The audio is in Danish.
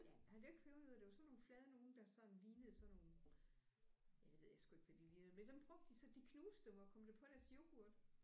Ja nej det var ikke pebernødder det var sådan nogle flade nogle der sådan lignede sådan nogle ja det ved jeg sgu ikke hvad de lignede men dem brugte de så de knuste dem og kom det på deres yoghurt